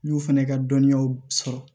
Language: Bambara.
N y'o fɛnɛ ka dɔnniyaw sɔrɔ